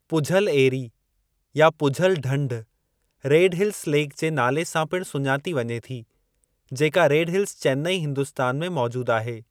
पुझल एरी या पुझल ढंढ रेड हिल्स लेक जे नाले सां पिणु सुञाती वञे थी, जेका रेड हिल्स, चेन्नई हिंदुस्तान में मौजूद आहे।